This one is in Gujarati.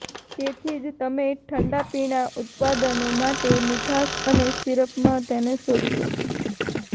તેથી જ તમે ઠંડા પીણા ઉત્પાદનો માટે મીઠાશ અને સીરપમાં તેને શોધશો